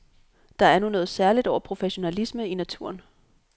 Der er nu noget særligt over professionalisme i naturen.